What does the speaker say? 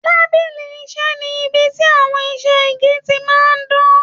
Tábìlì iṣẹ ní ibí tí àwọn iṣẹ igi tí máa n dan.